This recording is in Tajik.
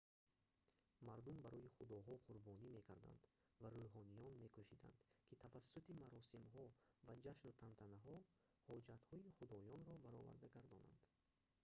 мардум барои худоҳо қурбонӣ мекарданд ва рӯҳониён мекӯшиданд ки тавассути маросимҳо ва ҷашну тантанаҳо ҳоҷатҳои худоёнро бароварда гардонанд